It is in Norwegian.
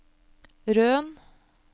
Røn